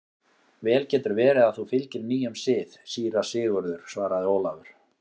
Vel getur verið að þú fylgir nýjum sið, síra Sigurður, svaraði Ólafur.